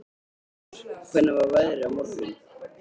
Úlfar, hvernig er veðrið á morgun?